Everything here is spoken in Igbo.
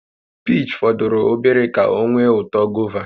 Piich fọdụrụ obere ka ọ nwee uto gova